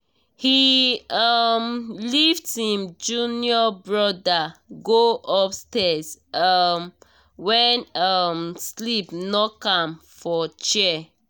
he um lift him junior brother go upstairs um when um sleep knock am for chair